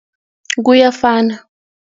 Kuyafana.